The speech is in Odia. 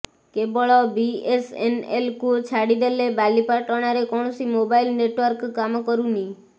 କେବଳ ବିଏସଏନଏଲ୍କୁ ଛାଡ଼ି ଦେଲେ ବାଲିପାଟଣାରେ କୌଣସି ମୋବାଇଲ ନେଟୱାର୍କ କାମ କରୁନି